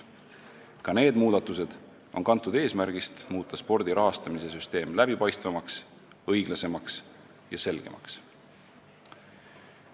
Ka need muudatused on kantud eesmärgist muuta spordi rahastamise süsteem läbipaistvamaks, õiglasemaks ja selgemaks.